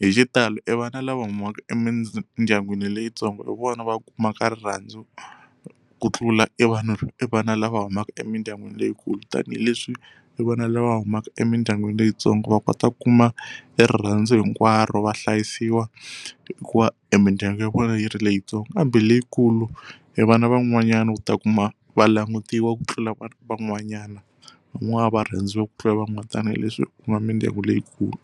hi xitalo e vana lava humaka emindyangwini leyitsongo hi vona va kumaka rirhandzu ku tlula e vanhu e vana lava humaka emindyangwini leyikulu tanihileswi hi vona lava humaka emindyangwini leyitsongo va kota ku kuma erirhandzu hinkwaro vahlayisiwa hikuva emindyangu ya vona yi ri leyitsongo kambe leyikulu evana van'wanyani u ta kuma va langutiwa ku tlula vanhu van'wanyana van'wana va rhandziwa ku tlula van'wana tanahi leswi ku nga mindyangu leyikulu.